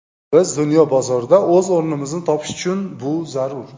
Biz dunyo bozorida o‘z o‘rnimizni topish uchun bu zarur.